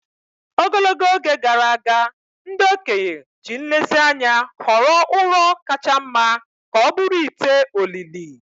Ogologo oge gara aga, ndị okenye ji nlezianya họrọ ụrọ kacha mma ka ọ bụrụ ite olili.